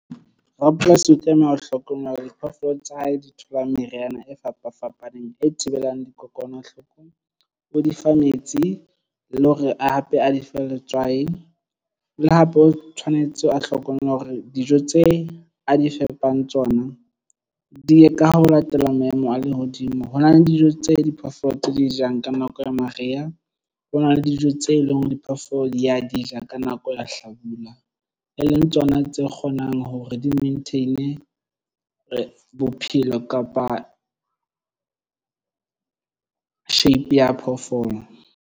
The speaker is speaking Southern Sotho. Rapolasi o tlameha ho hlokomela diphoofolo tsa hae di tholang meriana e fapafapaneng e thibelang dikokwanahloko o di fa metsi le hore hape a dife letswai le hape o tshwanetse a hlokomela hore dijo tse a di fepang tsona di ka ho latela maemo a lehodimo. Ho na le dijo tse diphoofolo tse di jang ka nako ya mariha. Ho na le dijo tse leng hore diphoofolo di ya di ja ka nako ya hlabula e leng tsona tse kgonang hore di-maintain bophelo kapa shape ya phoofolo.